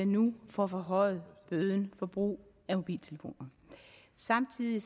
nu får forhøjet bøden for brug af mobiltelefoner samtidig